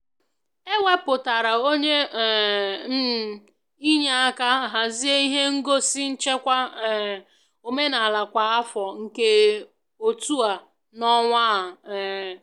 e wepụtara onwe um m inye aka hazie ihe ngosi nchekwa um omenala kwa afọ nke otu a n'ọnwa a um